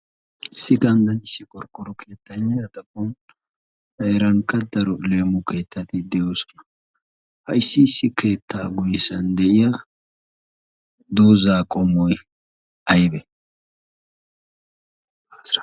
Issi ganddan issi qoriqoro keetaynne A xaphon heerankka daro leemo keettati de'oosona. Ha issi issi keettaa guyessan de'iya doozzaa qommoy aybee?